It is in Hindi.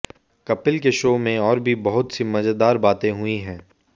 कपिल के शो में और भी बहुत सी मज़ेदार बातें हुई हैं